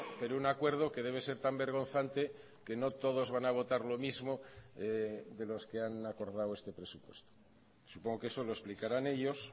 pero un acuerdo que debe ser tan vergonzante que no todos van a votar lo mismo de los que han acordado este presupuesto supongo que eso lo explicarán ellos